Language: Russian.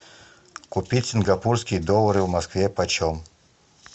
купить сингапурские доллары в москве почем